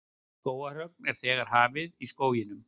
Skógarhögg er þegar hafið í skóginum